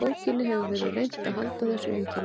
Í bókinni hefur verið reynt að halda þessu einkenni.